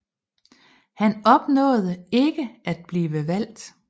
Han opnåede ikke at blive valgt